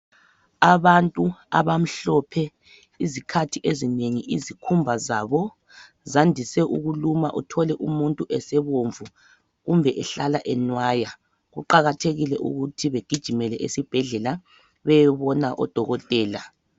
Abantu abamhlophe izikhathi ezinengi izikhumba zabo zandise ukuluma uthole umuntu esebomvu kumbe esehlala enwaya. Kuqakathekile ukuthi begijimele esibhedlela beyebona odokotela